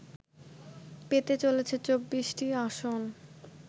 পেতে চলেছে ২৪টি আসন